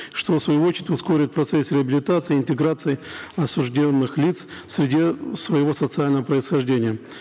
что в свою очередь ускорит процесс реабилитации интеграции осужденных лиц в среде своего социального происхождения